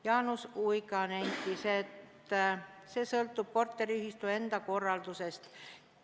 Jaanus Uiga nentis, et see sõltub korteriühistu enda korraldusest.